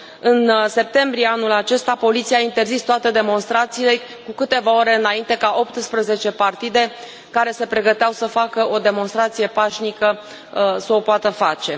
În septembrie anul acesta, poliția a interzis toate demonstrațiile cu câteva ore înainte ca 18 partide care se pregăteau să facă o demonstrație pașnică să o poată face.